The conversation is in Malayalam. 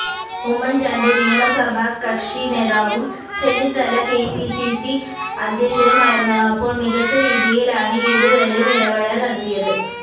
ഉമ്മൻ ചാണ്ടി നിയമസഭാ കക്ഷിനേതാവും ചെന്നിത്തല കെപിസിസി അധ്യക്ഷനുമായിരുന്നപ്പോൾ മികച്ച രീതിയിലാണ് ഇരുവരും ഇടപെടൽ നടത്തിയത്